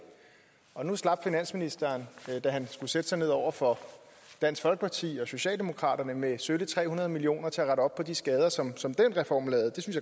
og nu slap finansministeren da han skulle sætte sig ned over for dansk folkeparti og socialdemokraterne med sølle tre hundrede million kroner til at rette op på de skader som som den reform lavede